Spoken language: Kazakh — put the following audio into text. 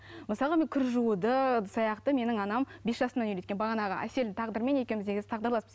мысалға мен кір жууды ыдыс аяқты менің анам бес жасымнан үйреткен бағанағы әселдің тағдырымен екеуміз негізі тағдырласпыз